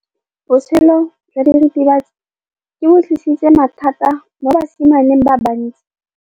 Botshelo jwa diritibatsi ke bo tlisitse mathata mo basimaneng ba bantsi.